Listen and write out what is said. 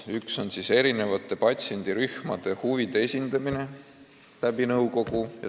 Üks on erinevate patsiendirühmade huvide esindamine nõukogus.